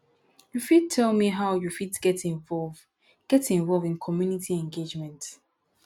you fit tell me how you fit get involve get involve in community engagement